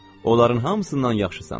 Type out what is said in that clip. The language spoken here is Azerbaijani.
Onların hamısından yaxşısan.